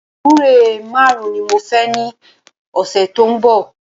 Gbúre márùn ni mo fẹ ní ọ̀sẹ̀ tó ń bọ̀